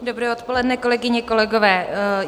Dobré odpoledne, kolegyně, kolegové.